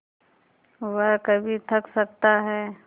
वह कभी थक सकता है